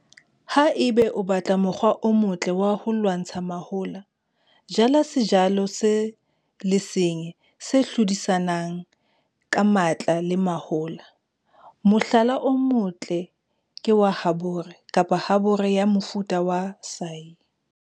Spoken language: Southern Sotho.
Ha eba o batla mokgwa o motle wa ho lwantsha mahola, jala sejothollo se le seng se hlodisanang ka matla le mahola. Mohlala o motle ke wa habore kapa habore ya mofuta wa saia.